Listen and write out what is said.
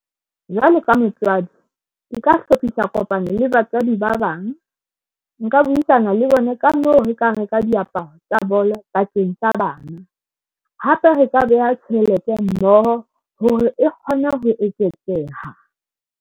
Jwalo ka motswadi, ke ka hlophisa kopano le batswadi ba bang. Nka buisana le bona ka moo re ka reka diaparo tsa bolo bakeng sa bana, hape re ka beha tjhelete mmoho hore e kgone ho eketseha.